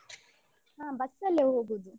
ಹ bus ಅಲ್ಲೆ ಹೋಗೊದು.